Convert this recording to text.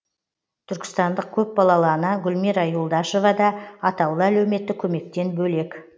түркістандық көпбалалы ана гулмира юлдашева да атаулы әлеуметтік көмектен бөлек